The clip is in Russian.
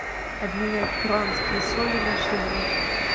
обменять перуанские соли на шиллинги